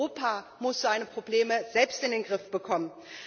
Europa muss seine Probleme selbst in den Griff bekommen.